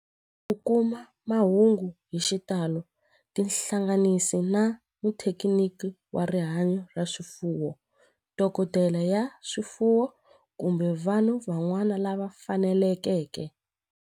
Ku kuma mahungu hi xitalo tihlanganisi na muthekiniki wa rihanyo ra swifuwo, dokodela ya swifuwo, kumbe vanhu van'wana lava fanelekeke.